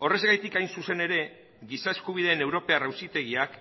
horrexegatik hain zuzen ere giza eskubideen europar auzitegiak